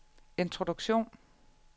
introduktion